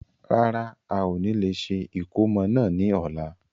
Rárá, ao ni lè ṣe ìkómọ náà ni ọ̀la.